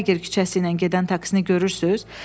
Prager küçəsi ilə gedən taksini görürsüz?